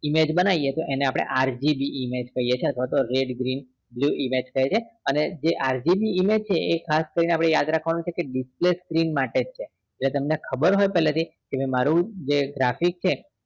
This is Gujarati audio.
image બનાવી એને આપને RGB image કહીએ છીએ અથવા તો red green blue image કહીએ છીએ અને જે RGB એ ખાસ કરીને આપણે યાદ રાખવાનું છે કે આપણે display screen માટે છે જે તમને ખબર હોય પેલેથી કે જે મારું